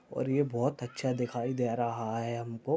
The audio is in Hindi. और ये बहुत अच्छा दिखाई दे रहा है हमको।